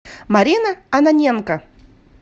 марина ананенко